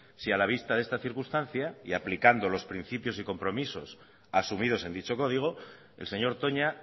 si a la vista de esta circunstancia y aplicando los principios y compromisos asumidos en dicho código el señor toña